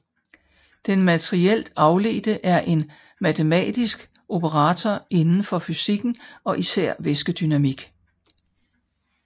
Den materielt afledte er en matematisk operator inden for fysikken og især væskedynamik